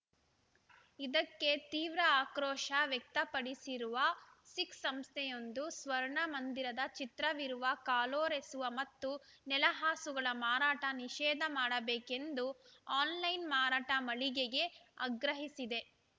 ಇದಕ್ಕೆ ತೀವ್ರ ಆಕ್ರೋಶ ವ್ಯಕ್ತಪಡಿಸಿರುವ ಸಿಖ್‌ ಸಂಸ್ಥೆಯೊಂದು ಸ್ವರ್ಣ ಮಂದಿರದ ಚಿತ್ರವಿರುವ ಕಾಲೊರೆಸುವ ಮತ್ತು ನೆಲಹಾಸುಗಳ ಮಾರಾಟ ನಿಷೇಧ ಮಾಡಬೇಕು ಎಂದು ಆನ್‌ಲೈನ್‌ ಮಾರಾಟ ಮಳಿಗೆಗೆ ಆಗ್ರಹಿಸಿದೆ